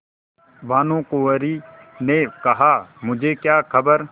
भानुकुँवरि ने कहामुझे क्या खबर